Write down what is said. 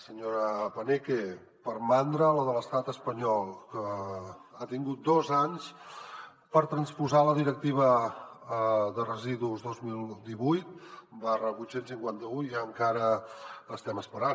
senyora paneque per mandra la de l’estat espanyol que ha tingut dos anys per transposar la directiva de residus dos mil divuit vuit cents i cinquanta un i encara estem esperant